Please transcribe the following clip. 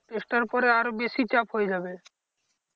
Test টার পরে আরো বেশি চাপ হয়ে যাবে।